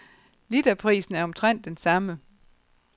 Literprisen er omtrent den samme.